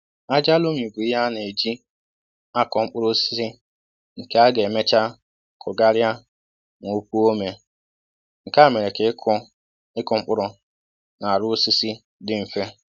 Ájá lomi bụ ihe a na e jì á kọ mkpụrụ osisi nke a ga emecha kụ gharia ma opuo ome, nkè á mèrè ka ịkụ ịkụ mkpụrụ na arụ osisi dị mfe